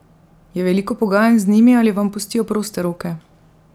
Je veliko pogajanj z njimi ali vam pustijo proste roke?